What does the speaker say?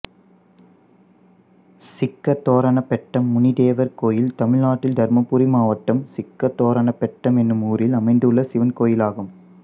சிக்கதோரணப் பெட்டம் முனிதேவர் கோயில் தமிழ்நாட்டில் தர்மபுரி மாவட்டம் சிக்கதோரணப் பெட்டம் என்னும் ஊரில் அமைந்துள்ள சிவன் கோயிலாகும்